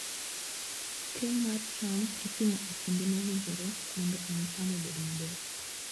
Keyo mar cham itimo e kinde mowinjore mondo omi cham obed maber.